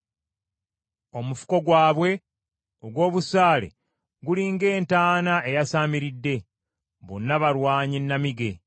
omufuko gwabwe ogw’obusaale guli ng’entaana eyasaamiridde, bonna balwanyi nnamige.